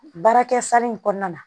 Baarakɛ sari in kɔnɔna na